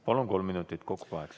Palun, kolm minutit, kokku kaheksa.